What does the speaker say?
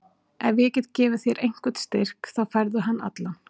Ef ég get gefið þér einhvern styrk þá færðu hann allan.